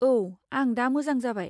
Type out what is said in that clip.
औ, आं दा मोजां जाबाय।